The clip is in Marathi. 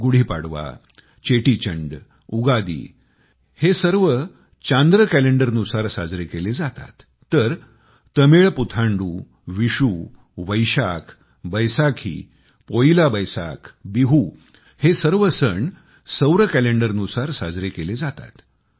गुढी पाडवा चेटीचंड उगादि हे सर्व चंद्र कॅलेंडरनुसार साजरे केले जातात तर तमिळ पुथांडु विषु वैशाख बैसाखी पोइला बैसाख बिहु हे सर्व सण पर्व सूर्य कॅलेंडरनुसार साजरे केले जातात